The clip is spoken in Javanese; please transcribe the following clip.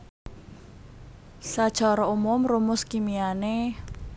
Sacara umum rumus kimiané